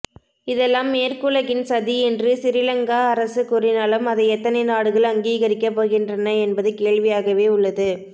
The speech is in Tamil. இதெல்லாம் மேற்குலகின் சதி என்று சிறிலங்கா அரசு கூறினாலும் அதை எத்தனை நாடுகள் அங்கீகரிக்கப் போகின்றன என்பது கேள்வியாகவே உள்ளது